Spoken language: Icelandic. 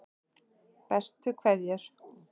Bestu kveðjur